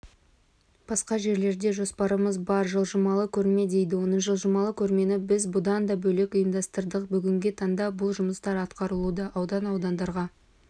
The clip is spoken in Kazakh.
басқа жерлерде жоспарымыз бар жылжымалы көрме дейді оны жылжымалы көрмені біз бұдан да бөлек ұйымдастырдық бүгінгі таңда бұл жұмыстар атқарылуда аудан-аудандарға